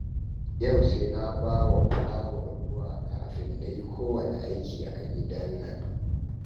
Yau sai na ba wa fulawa ruwa kafin na yi kowanne aiki a gidan nan